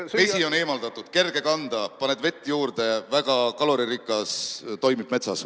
Vesi on eemaldatud, kerge kanda, paned vett juurde, väga kaloririkas – toimib metsas.